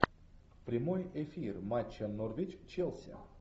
прямой эфир матча норвич челси